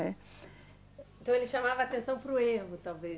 Então ele chamava a atenção para o erro, talvez.